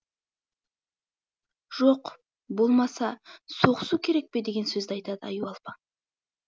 жоқ болмаса соғысу керек пе деген сөзді айтады аюалпаң